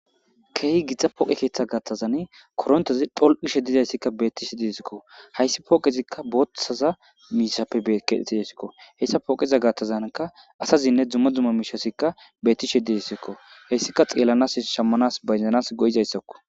keehi githa pooqe keeththa gattazan korontezi dholqishe dizayssikka betishe didesikko hayssi pooqezikka booththaza miishappe kedhetidasikko heyssa pooqeza gattazanka asazinne dzumma dzumma miishasikka beetti she didessikko heyssika xeellanas shammanas bayzanas go'izayssakko